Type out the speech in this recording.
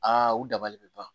Aa u dabali bɛ ban